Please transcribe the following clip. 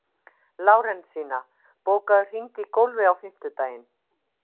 Lárensína, bókaðu hring í golf á fimmtudaginn.